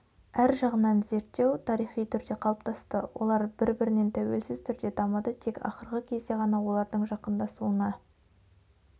әр жағынан зерттеу тарихи түрде қалыптасты олар бір бірінен тәуелсіз түрде дамыды тек ақырғы кезде ғана олардың жақындасуына